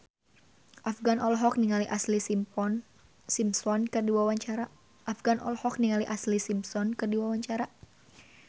Afgan olohok ningali Ashlee Simpson keur diwawancara